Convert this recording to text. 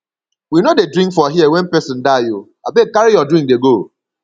we no dey drink for here wen pesin die o abeg carry your drink dey go